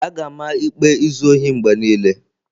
A ga-ama ikpe izu ohi mgbe niile.